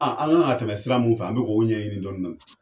A an kan ka tɛmɛ sira mu fɛ an b'o ko ɲɛɲini dɔnidɔni